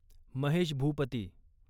Mahesh Bhupathi